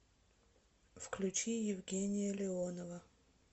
включи евгения леонова